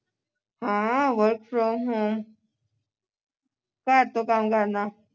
ਹਾਂ work from home ਘਰ ਤੋਂ ਕੰਮ ਕਰਨਾ